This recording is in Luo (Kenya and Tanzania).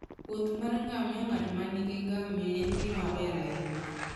Wuoth mar ngamia ng'at ma nigi ngamia en gima ber ahinya.